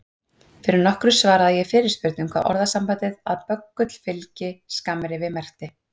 Fyrir nokkru svaraði ég fyrirspurn um hvað orðasambandið að böggull fylgi skammrifi merkti.